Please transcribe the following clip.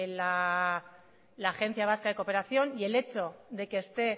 la agencia vasca de cooperación y el hecho de que esté